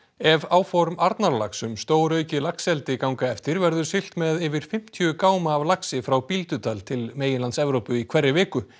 ef áform Arnarlax um stóraukið laxeldi ganga eftir verður siglt með yfir fimmtíu gáma af laxi frá Bíldudal til meginlands Evrópu í hverri viku